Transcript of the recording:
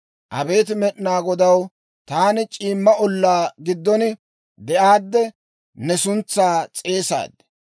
Abeet Med'inaa Godaw, taani c'iimma ollaa giddon de'aadde ne suntsaa s'eesaad.